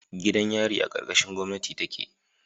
Gidan yari a karkashin gomnati take